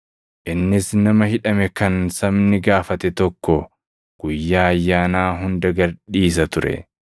Innis nama hidhame kan sabni gaafate tokko Guyyaa Ayyaanaa hunda gad dhiisa ture.